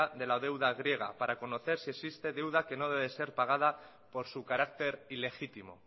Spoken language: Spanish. de la deuda griega para conocer si existe deuda que no debe ser pagada por su carácter ilegítimo